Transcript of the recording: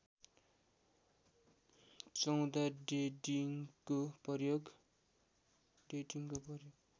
१४ डेटिङको प्रयोग